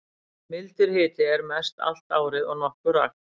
Mildur hiti er mest allt árið og nokkuð rakt.